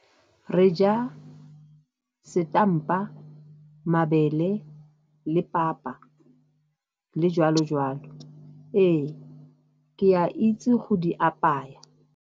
Re ja setampa, mabele le papa, le joalo joalo. Ee, ke a itse go di apaya.